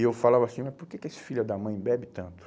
E eu falava assim, mas por que que esse filho da mãe bebe tanto?